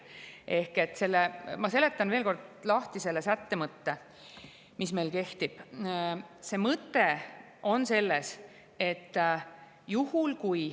Ehk ma seletan veel kord lahti selle sätte mõtte, mis meil kehtib.